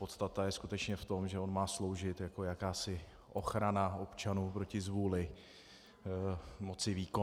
Podstata je skutečně v tom, že on má sloužit jako jakási ochrana občanů proti zvůli moci výkonné.